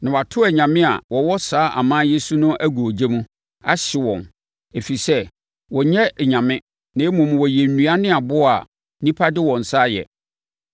Na wɔato anyame a wɔwɔ saa aman yi so no agu ogya mu, ahye wɔn, ɛfiri sɛ wɔnyɛ anyame na mmom wɔyɛ nnua ne aboɔ a nnipa de wɔn nsa ayɛ.